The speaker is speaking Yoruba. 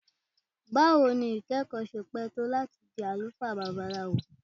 Bawo ni ikẹkọ ṣe pẹ to lati di alufaa Babalawo?